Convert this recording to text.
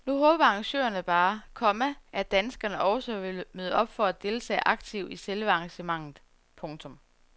Nu håber arrangørerne bare, komma at danskerne også vil møde op for at deltage aktivt i selve arrangementet. punktum